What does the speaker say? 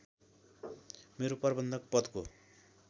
मेरो प्रबन्धक पदको